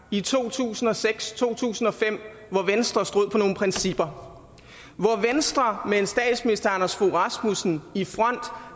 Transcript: i to tusind og seks to tusind og fem hvor venstre stod for nogle principper og hvor venstre med statsminister anders fogh rasmussen i front